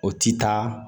O ti taa